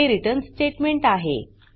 हे return statement आहे